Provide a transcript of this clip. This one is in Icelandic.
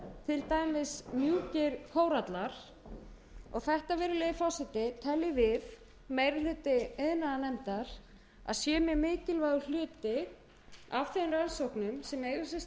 til dæmis mjúkir kórallar og þetta virðulegi forseti teljum við meiri hluti iðnaðarnefndar að sé mjög mikilvægur hluti af